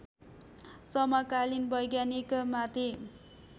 समकालीन वैज्ञानिकमाथि